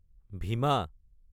ভীমা